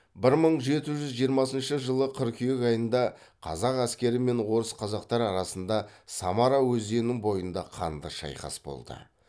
бір мың жеті жүз жиырмасыншы жылы қыркүйек айында қазақ әскері мен орыс қазақтар арасында самара өзенінің бойында қанды шайқас болды